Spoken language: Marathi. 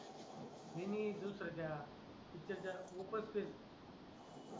इन्ही दुसरं त्या पिक्चर त्याला खुपच फिरली